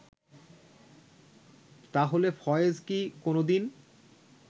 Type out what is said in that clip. তাহলে ফয়েজ কি কোনো দিন